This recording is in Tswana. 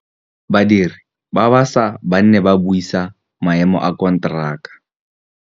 Badiri ba baša ba ne ba buisa maêmô a konteraka.